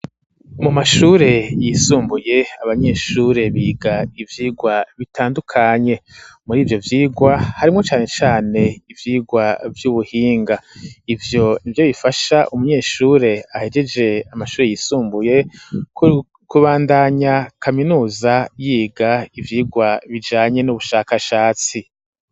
Mu mashure yisumbuye, abanyeshure biga ivyigwa bitandukanye, muri ivyo vyigwa harimwo cane cane ivyigwa vy'ubuhinga; ivyo nivyo bifasha umunyeshure ahejeje amashure yisumbuye, kubandanya kaminuza, yiga ivyigwa bijanye n'ubushakashatsi.